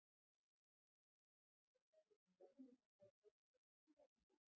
Finnst þér Ólafur Jóhannesson hafa hlotið ósanngjarna gagnrýni?